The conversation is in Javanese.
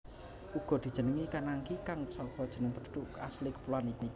Uga dijenengi Kanaki kang saka jeneng penduduk asli kepuloan iku